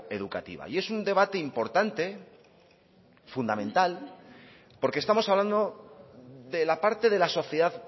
educativa es un debate importante y fundamental porque estamos hablando de la parte de la sociedad